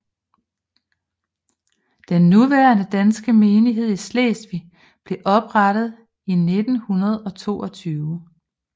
Den nuværende danske menighed i Slesvig blev oprettet i 1922